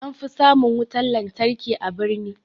An fi samun wutan lantarki a birni